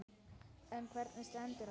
En hvernig stendur á þessu?